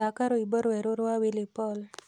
thaka rwĩmbo rwerũ rwa willy paul